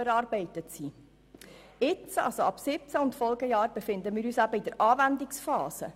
Seit dem Jahr 2017 befinden wir uns in der Anwendungsphase.